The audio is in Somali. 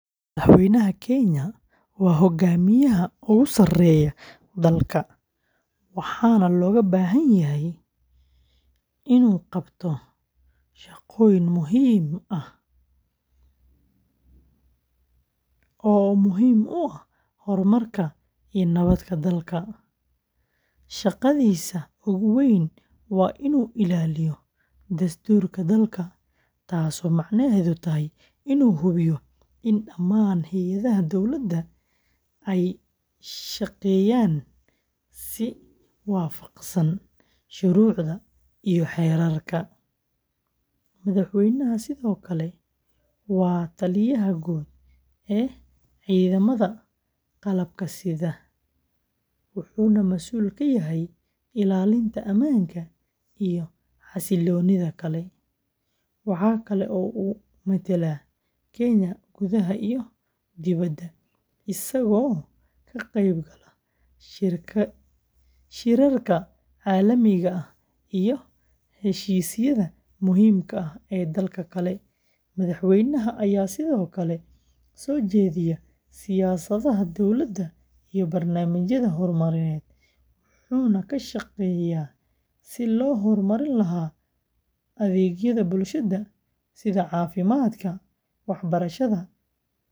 Madaxweynaha Kenya waa hogaamiyaha ugu sarreeya dalka, waxaana looga baahan yahay inuu qabto shaqooyin muhiim ah oo muhiim u ah horumarka iyo nabadda dalka. Shaqadiisa ugu weyn waa inuu ilaaliyo dastuurka dalka, taasoo macnaheedu yahay inuu hubiyo in dhammaan hay’adaha dowladda ay shaqeeyaan si waafaqsan shuruucda iyo xeerarka. Madaxweynaha sidoo kale waa taliyaha guud ee ciidamada qalabka sida, wuxuuna mas’uul ka yahay ilaalinta ammaanka iyo xasiloonida dalka. Waxa kale oo uu metelaa Kenya gudaha iyo dibadda, isagoo ka qayb gala shirarka caalamiga ah iyo heshiisyada muhiimka ah ee dalalka kale. Madaxweynaha ayaa sidoo kale soo jeediya siyaasadaha dowladda iyo barnaamijyada horumarineed, wuxuuna ka shaqeeyaa sidii loo horumarin lahaa adeegyada bulshada sida caafimaadka, waxbarashada.